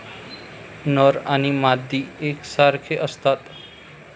नर आणि मादी एकसारखे असतात.